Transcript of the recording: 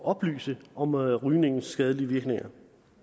oplyse om rygningens skadelige virkninger